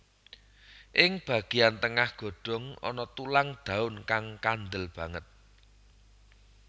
Ing bagéyan tengah godhong ana tulang daun kang kandel banget